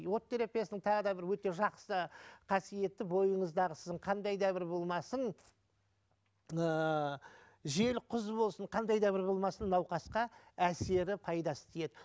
от терапиясының тағы да бір өте жақсы қасиеті бойыңыздағы сіздің қандай да бір болмасын ыыы жел құз болсын қандай да бір болмасын науқасқа әсері пайдасы тиеді